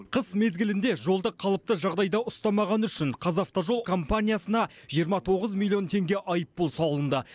қыс мезгілінде жолды қалыпты жағдайда ұстамағаны үшін қазавтожол компаниясына жиырма тоғыз миллион теңге айыппұл салынды